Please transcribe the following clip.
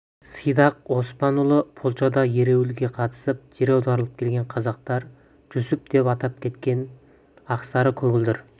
сидақ оспанұлы польшада ереуілге қатысып жер аударылып келген қазақтар жүсіп деп атап кеткен ақсары көгілдір